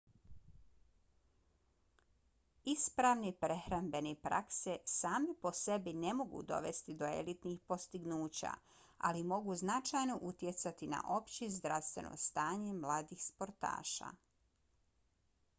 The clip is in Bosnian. ispravne prehrambene prakse same po sebi ne mogu dovesti do elitnih postignuća ali mogu značajno utjecati na opće zdravstveno stanje mladih sportaša